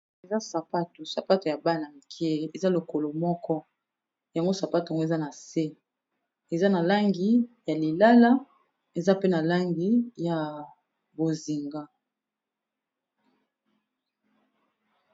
Eza sapato, sapato ya bana mike eza lokolo moko. Yango sapato ngo eza na se, eza na langi ya lilala, eza pe na langi ya bozinga.